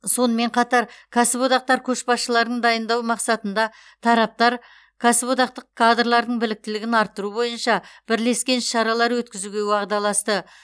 сонымен қатар кәсіподақтар көшбасшыларын дайындау мақсатында тараптар кәсіподақтық кадрлардың біліктілігін арттыру бойынша бірлескен іс шаралар өткізуге уағдаласты